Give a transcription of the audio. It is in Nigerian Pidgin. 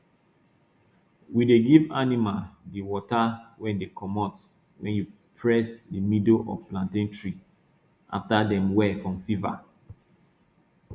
we dey give animal di water wey dey comot wen you press di middle of plantain tree afta dem well from fever